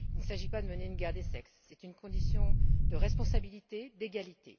Il ne s'agit pas de mener une guerre des sexes c'est une condition de responsabilité, d'égalité.